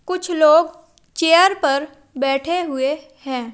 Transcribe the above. कुछ लोग चेयर पर बैठे हुए हैं।